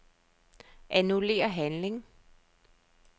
Annullér handling.